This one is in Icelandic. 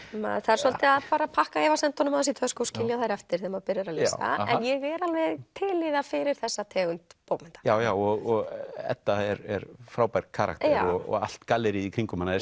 maður þarf svolítið að pakka efasemdunum í tösku og skilja þær eftir þegar maður byrjar að lesa en ég er alveg til í það fyrir þessa tegund bókmennta já já og Edda er frábær karakter og allt galleríið í kringum hana er